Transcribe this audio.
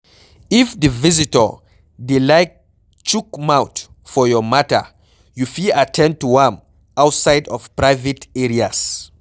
if di visitor dey like chook mouth for your matter, you fit at ten d to am outside of private areas